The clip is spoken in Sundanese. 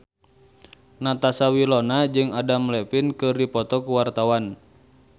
Natasha Wilona jeung Adam Levine keur dipoto ku wartawan